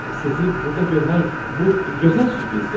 Sizi burda görmək bu gözəl sürprizdir.